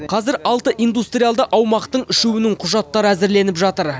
қазір алты индустриалды аумақтың үшеуінің құжаты әзірленіп жатыр